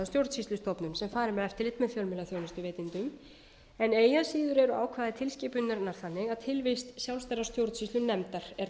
stjórnsýslustofnun sem fari með eftirlit með fjölmiðlaþjónustuveitendum en eigi að síður eru ákvæði tilskipunarinnar þannig að tilvist sjálfstæðrar stjórnsýslunefndar er talin